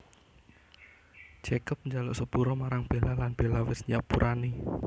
Jacob njaluk sepura marang Bella lan Bella wis nyepurani